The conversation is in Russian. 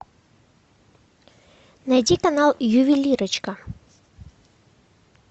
найди канал ювелирочка